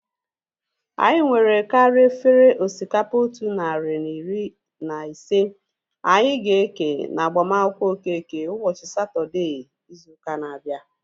Anyị nwere karịa efere osikapa otu narị na iri na ise anyị ga-eke na agbamakwụkwọ Okeke ụbọchị Satọdee izu ụka na-abịa